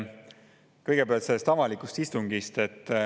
Kõigepealt sellest avalikust istungist.